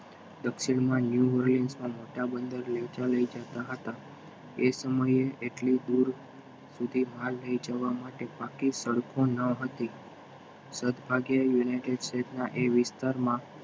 દક્ષિણમાં લઈ જતા હતા એ સમયે એટલે દૂર સુધી માલ લઈ જવા માટે પાકી સડકો નહોતી યુનાઇટેડ સ્ટેટ ના એ વિસ્તારમાં